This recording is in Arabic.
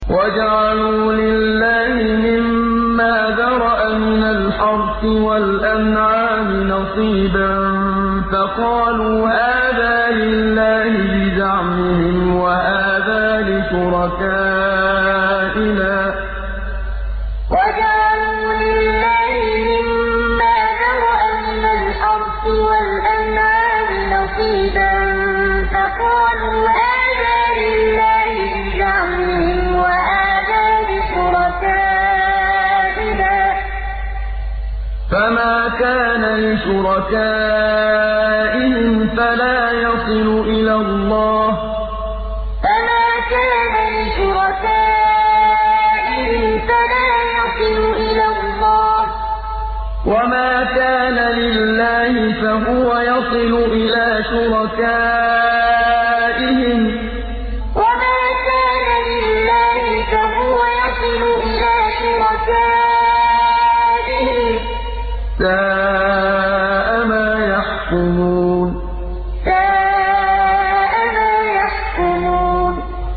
وَجَعَلُوا لِلَّهِ مِمَّا ذَرَأَ مِنَ الْحَرْثِ وَالْأَنْعَامِ نَصِيبًا فَقَالُوا هَٰذَا لِلَّهِ بِزَعْمِهِمْ وَهَٰذَا لِشُرَكَائِنَا ۖ فَمَا كَانَ لِشُرَكَائِهِمْ فَلَا يَصِلُ إِلَى اللَّهِ ۖ وَمَا كَانَ لِلَّهِ فَهُوَ يَصِلُ إِلَىٰ شُرَكَائِهِمْ ۗ سَاءَ مَا يَحْكُمُونَ وَجَعَلُوا لِلَّهِ مِمَّا ذَرَأَ مِنَ الْحَرْثِ وَالْأَنْعَامِ نَصِيبًا فَقَالُوا هَٰذَا لِلَّهِ بِزَعْمِهِمْ وَهَٰذَا لِشُرَكَائِنَا ۖ فَمَا كَانَ لِشُرَكَائِهِمْ فَلَا يَصِلُ إِلَى اللَّهِ ۖ وَمَا كَانَ لِلَّهِ فَهُوَ يَصِلُ إِلَىٰ شُرَكَائِهِمْ ۗ سَاءَ مَا يَحْكُمُونَ